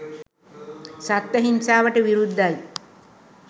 සත්ව හිංසාවට විරුද්ධයි